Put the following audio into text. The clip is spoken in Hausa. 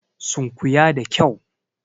Sunkuya da kyau!